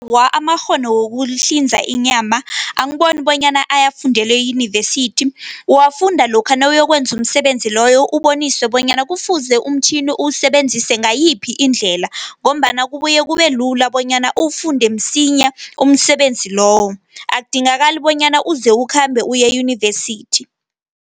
Amakghono wokuhlinza inyama, angiboni bonyana ayafundelwe eyunivesithi. Uwafunda lokha nawuyokwenza umsebenzi loyo, uboniswe bonyana kufuze umtjhini usebenzise ngayiphi indlela, ngombana kubuye kubelula bonyana uwufunde msinya umsebenzi loyo. Akudingakali bonyana uze ukhambe uye eyunivesithi.